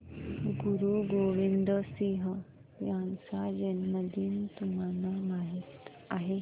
गुरु गोविंद सिंह यांचा जन्मदिन तुम्हाला माहित आहे